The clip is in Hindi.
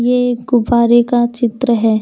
ये गुब्बारे का चित्र है।